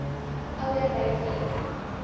ouer by wie